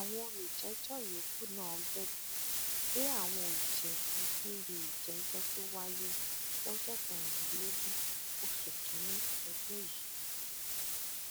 àwọn olùjẹjọ yòókù náà bẹbẹ pé àwọn ò jẹbi níbi ìjẹjọ tó wáyé lọjọ kẹrìnlélógún oṣù kínínní ọdún yìí